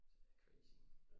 Det er crazy